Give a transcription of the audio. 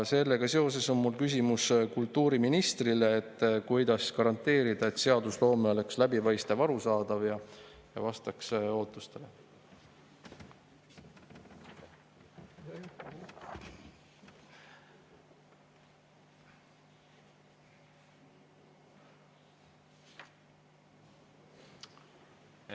Sellega seoses on mul küsimus kultuuriministrile: kuidas garanteerida, et seadusloome oleks läbipaistev, arusaadav ja vastaks ootustele?